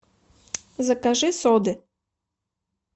закажи соды